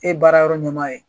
E baara yɔrɔ ɲɛma ye.